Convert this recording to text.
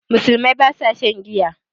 Musulmai ba sa shan giya